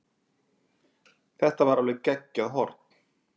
Þetta var alveg geggjað horn.